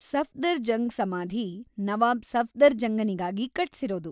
ಸಫ್ದರ್‌ಜಂಗ್‌ ಸಮಾಧಿ ನವಾಬ್‌ ಸಫ್ದರ್‌ಜಂಗನಿಗಾಗಿ ಕಟ್ಸಿರೋದು.